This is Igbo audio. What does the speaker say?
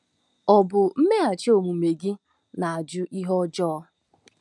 Ọ bụ mmeghachi omume gị na-ajụ ihe ọjọọ?